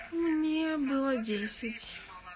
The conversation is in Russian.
не было десять